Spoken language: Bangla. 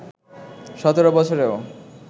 সতেরো বছরেও